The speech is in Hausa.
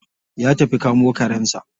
Ya tafi kamo karensa.